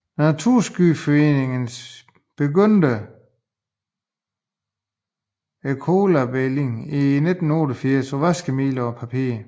Naturskyddsföreningen begyndte ecolabelling i 1988 på vaskemidler og papir